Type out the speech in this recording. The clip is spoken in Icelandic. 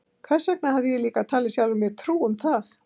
Hvers vegna hafði ég líka talið sjálfri mér trú um það?